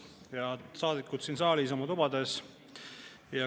Head saadikud siin saalis ja oma tubades!